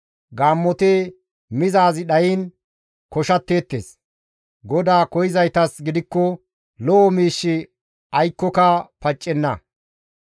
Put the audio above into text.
Gaammoti mizaazi dhayiin koshatteettes; GODAA koyzaytas gidikko lo7o miishshi aykkoka paccenna.